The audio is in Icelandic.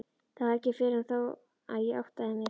Það var ekki fyrr en þá að ég áttaði mig.